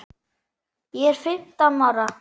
Ég er fimmtán ára.